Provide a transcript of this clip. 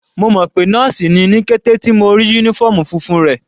Mo mọ̀ pé nọ́ọ̀sì ni ní kété tí mo ti rí uniform funfun rẹ̀.